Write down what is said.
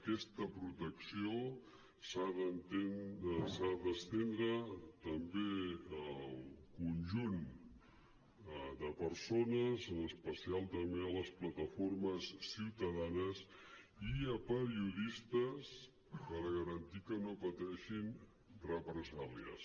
aquesta protecció s’ha d’estendre també al conjunt de persones en especial també a les plataformes ciutadanes i a periodistes per garantir que no pateixin represàlies